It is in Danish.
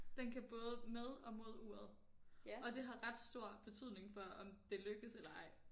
Den kan både med og mod uret og det har ret stor betydning for om det lykkes eller ej